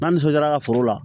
N'an nisɔndiyara ka foro la